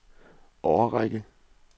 årrække